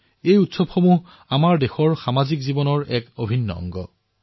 পৰ্ব আৰু উৎসৱ আমাৰ দেশৰ সামাজিক জীৱনৰ এক অভিন্ন অংগ